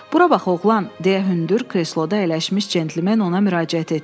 Bura bax, oğlan, deyə hündür kresloda əyləşmiş cəntlmen ona müraciət etdi.